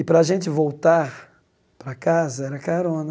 E, para a gente voltar para casa, era carona.